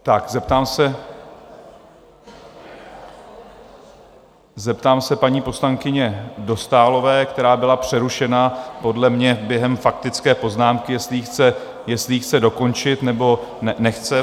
Zeptám se paní poslankyně Dostálové, která byla přerušena podle mě během faktické poznámky, jestli ji chce dokončit, nebo nechce?